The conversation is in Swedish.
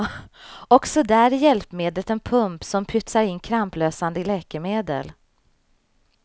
Också där är hjälpmedlet en pump som pytsar in kramplösande läkemedel.